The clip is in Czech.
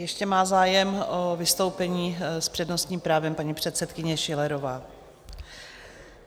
Ještě má zájem o vystoupení s přednostním právem paní předsedkyně Schillerová.